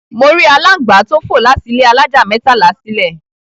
Mo rí aláǹgbá tó fò láti ilé alájà mẹ́tàlá sílè.